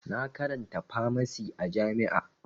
Na karanta famasi a jami'a